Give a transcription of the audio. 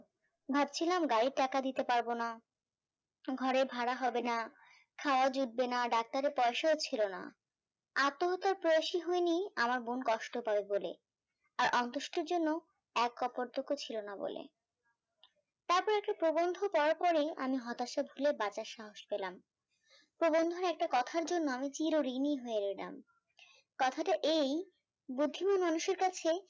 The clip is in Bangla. আর কপদক্ষ ছিল না বলে তারপর একটা প্রবন্ধ পড়ার পরেই আমি হতাশা ভুলে বাঁচার সাহস পলাম, প্রবন্ধের একটা কথার জন্য আমি চীর ঋণী হয়ে গেলাম কথাটা এই বুঝেও মানুষের কাছে প্রতিদিনই